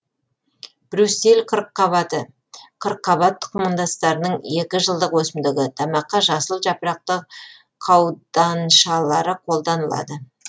брюссель қырыққабаты қырыққабат тұқымдастарының екі жылдық өсімдігі тамаққа жасыл жапырақты қауданшалары қолданылады